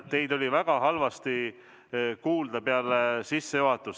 Teid oli väga halvasti kuulda peale sissejuhatust.